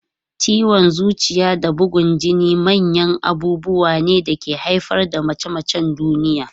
Ciwon zuciya da bugun jini manyan abubuwa ne da ke haifar da mace-macen duniya.